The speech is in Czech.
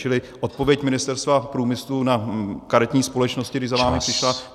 Čili odpověď Ministerstva průmyslu na karetní společnosti, když za vámi přišla...